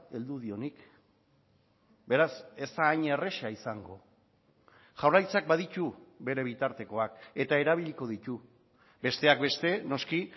heldu dionik beraz ez da hain erraza izango jaurlaritzak baditu bere bitartekoak eta erabiliko ditu besteak beste noski